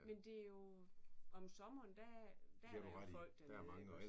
Men det jo om sommeren der der er der jo folk dernede igåås